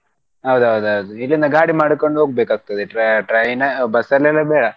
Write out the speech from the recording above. ಹೌದೌದೌದು ಇಲ್ಲಿಂದ ಗಾಡಿ ಮಾಡ್ಕೊಂಡು ಹೋಗ್ಬೇಕಾಗ್ತದೆ tra~ train, bus ಅಲ್ಲೆಲ್ಲ ಬೇಡ.